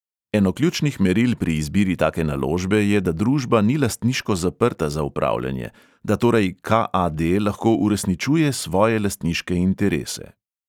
Eno ključnih meril pri izbiri take naložbe je, da družba ni lastniško zaprta za upravljanje, da torej ka|a|de lahko uresničuje svoje lastniške interese.